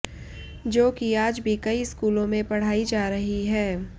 जो कि आज भी कई स्कूलों में पढ़ाई जा रही है